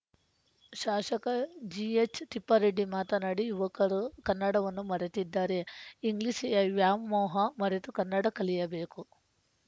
ಶಾಶಕ G H Thippareddy ಮಾತನಾಡಿ ಯುವಕರು ಕನ್ನಡವನ್ನು ಮರೆಯುತ್ತಿದ್ದಾರೆ ಇಂಗ್ಲಿಷ್ ವ್ಯಾಮೋಹ ಮರೆತು ಕನ್ನಡ ಕಲಿಯಬೇಕು